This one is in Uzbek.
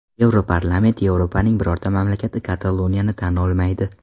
Yevroparlament: Yevropaning birorta mamlakati Kataloniyani tan olmaydi.